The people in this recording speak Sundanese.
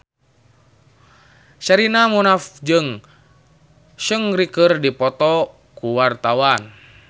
Sherina Munaf jeung Seungri keur dipoto ku wartawan